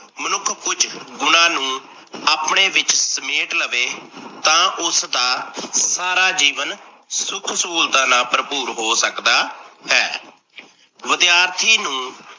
ਮਨੁੱਖ ਕੁਝ ਗੁਣਾਂ ਨੂੰ ਆਪਣੇ ਵਿੱਚ ਸਮੇਟ ਲਵੇ ਤਾਂ ਉਸਦਾ ਸਾਰਾ ਜੀਵਨ ਸੁੱਖ ਸਹੂਲਤਾਂ ਭਰਪੂਰ ਹੋ ਸਕਦਾ ਹੈ। ਵਿਦਿਆਰਥੀ ਨੂੰ